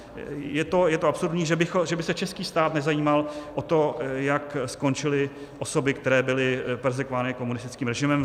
Je to absurdní, že by se český stát nezajímal o to, jak skončily osoby, které byly perzekvovány komunistickém režimem.